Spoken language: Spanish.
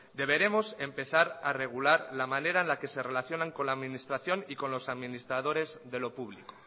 deberemos empezar a regular la manera en la que se relacionan con la administración y con los administradores de lo público